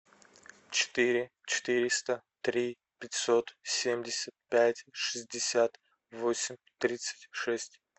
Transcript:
четыре четыреста три пятьсот семьдесят пять шестьдесят восемь тридцать шесть